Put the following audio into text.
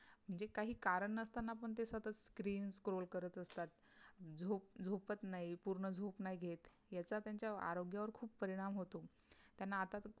जे कही कारण नसताना पण ते सतत screen scrol करत असतात. झोप झोपत नाही पूर्ण झोप नाही घेत याचा त्यांच्या आरोग्यावर खुप परिणाम होतो, त्यांना आता तर